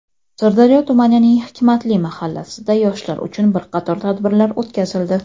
Sirdaryo tumanining "Hikmatli" mahallasida yoshlar uchun bir qator tadbirlar o‘tkazildi.